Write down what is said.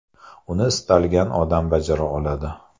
Uni istalgan odam bajara oladi.